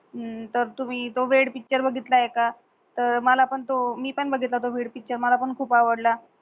तर तुम्ही त्यो वेड पिक्चर बगीतलय का? मला पण त्यो मी पण बगीत्लो होतो वेड पिक्चर मला पण खूप आवडला